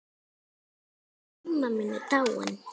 Ólína amma mín er dáin.